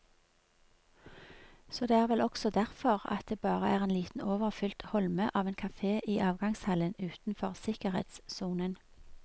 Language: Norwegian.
Så det er vel også derfor at det bare er en liten overfylt holme av en kafe i avgangshallen utenfor sikkerhetssonen.